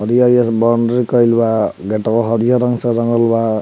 हरी-हरी बाउंड्री केल बा गेटवा हरियर रंग से रंगल बा।